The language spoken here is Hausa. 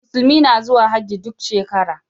Musulmi na zuwa Hajji duk shekara.